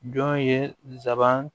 Jɔn ye nsaban